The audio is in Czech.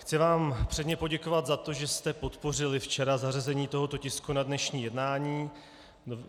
Chci vám předně poděkovat za to, že jste podpořili včera zařazení tohoto tisku na dnešní jednání.